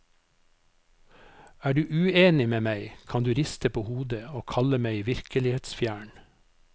Er du uenig med meg, kan du riste på hodet og kalle meg virkelighetsfjern.